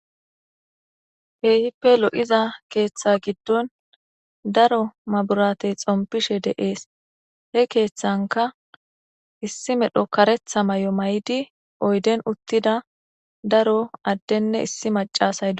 Keehippe lo7iza keeththa giddon daro maburatey xompishe de7ees he keeththanka issi medho karetha may7o may7di oyden uttida daro addenne issi macasaydo